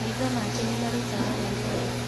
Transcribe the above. Maitho make nĩmarutaga maithori.